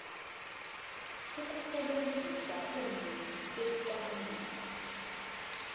ukusebenzisa ulimi ekucabangeni